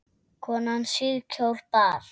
Konan síðkjól bar.